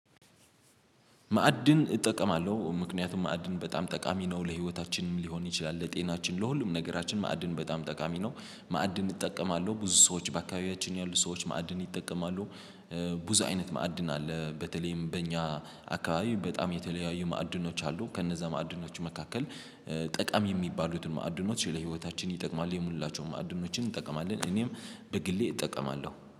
ማዕድን እጠቀማለሁ ምክንያቱም ማዕድን በጣም ጠቃሚ ነው ለህይወታችንም ሊሆን ይችላል ለጤናችን ለሁሉም ነገራችን ማዕድን በጣም ጠቃሚ ነው ማዕድን እጠቀማለሁ ብዙ ሰዎች በአካባቢያችን ያሉ ሰዎች ማዕድን ይጠቀማሉ። ብዙ አይነት ማዕድን አለ። በተለይም በእኛ አካባቢ በጣም የተለያዩ ማዕድኖች አሉ። ከነዛ ማዕድኖች መካከል ጠቃሚ የሚባሉትን ማዕድኖች ለህይወታችን ይጠቅማል የሙላቸውን ማዕድኖችን እንጠቀማለን እኔም በግሌ እጠቀማለሁ